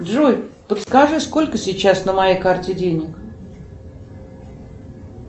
джой подскажи сколько сейчас на моей карте денег